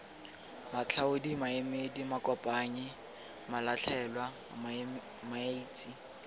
matlhaodi maemedi makopanyi malatlhelwa maetsi